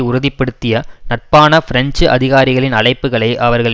உறுதிப்படுத்திய நட்பான பிரெஞ்சு அதிகாரிகளின் அழைப்புகளை அவர்கள்